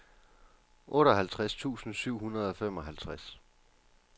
otteoghalvtreds tusind syv hundrede og femoghalvtreds